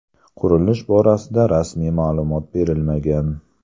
Qurilish borasida rasmiy ma’lumot berilmagan.